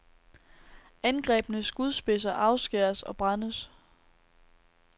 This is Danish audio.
Angrebne skudspidser afskæres og brændes.